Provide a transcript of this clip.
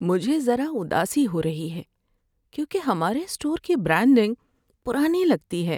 مجھے ذرا اداسی ہو رہی ہے کیونکہ ہمارے اسٹور کی برانڈنگ پرانی لگتی ہے۔